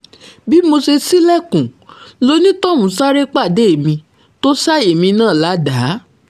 bí mo ṣe ṣílẹ̀kùn lonítọ̀hún sáré pàdé mi tó ṣá èmi náà ládàá